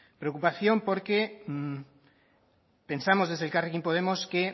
preocupación porque pensamos desde elkarrekin podemos que